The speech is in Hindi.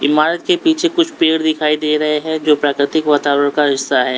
इमारत के पीछे कुछ पेड़ दिखाई दे रहे हैं जो प्राकृतिक वातावरण का हिस्सा है।